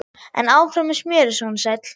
En áfram með smjörið, sonur sæll!